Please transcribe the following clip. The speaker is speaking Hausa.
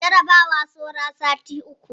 Jarabawa saura sati uku